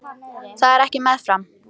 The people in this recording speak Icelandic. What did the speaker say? Það er ekki með farm